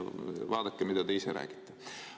Vaadake, mida te ise räägite.